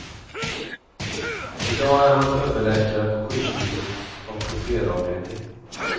I dag är han överläkare på sjukhusets ortopedavdelning.